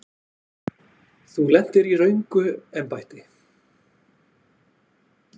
Þú lentir í röngu embætti.